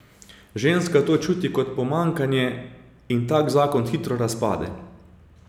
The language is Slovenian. Ženska to čuti kot pomanjkanje in tak zakon hitro razpade.